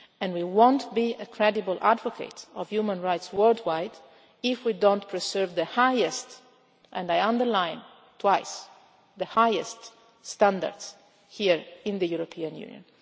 We will not be a credible advocate of human rights worldwide if we do not preserve the highest, and I underline twice, the highest standards here in the European Union.